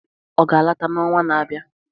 Ọ ga-alọta n'ọnwa na-abịa?